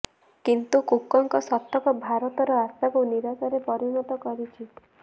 କିନ୍ତୁ କୁକଙ୍କ ଶତକ ଭାରତର ଆଶାକୁ ନିରାଶାରେ ପରିଣତ କରିଛି